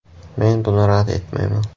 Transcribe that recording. Men buni rad etmayman.